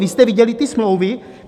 Vy jste viděli ty smlouvy?